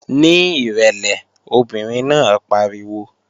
Ní ìrẹ̀lẹ̀! Obìnrin náà pariwo